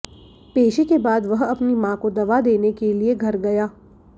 पेशी के बाद वह अपनी मां को दवा देने के लिए घर गया